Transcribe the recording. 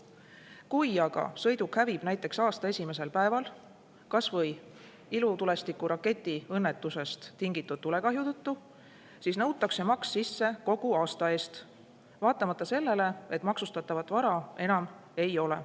Kui aga sõiduk hävib näiteks aasta esimesel päeval kas või ilutulestiku raketi õnnetusest tingitud tulekahju tõttu, siis nõutakse maks sisse kogu aasta eest, vaatamata sellele, et maksustatavat vara enam ei ole.